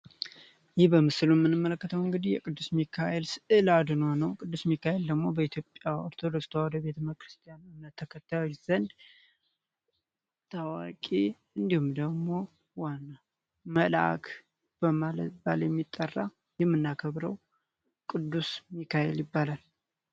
የቅዱስ ሚካኤል ስዕል በኢትዮጵያ ኦርቶዶክስ ተዋህዶ ቤተክርስቲያን ተከታዮች ዘንድ ደግሞ ዋና መላክ በማለት የሚጠራው የምናከብረው ቅዱስ ሚካኤል ይባላል